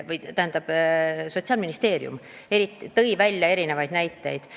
Ka Sotsiaalministeerium tõi meile selle kohta erinevaid näiteid.